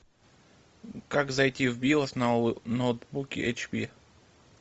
как зайти в биос на ноутбуке эйч пи